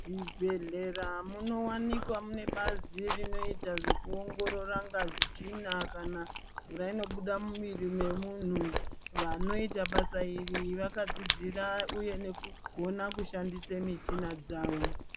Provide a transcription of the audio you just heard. Muzvibhodhlera munowanika muinebazi rinoita zvekuongorora ngazi, tsvina kana mvura inobuda mumiiri memunhu , vanoita basa iri vakadzidzira , uye nekugona kushandiswa michina dzawo.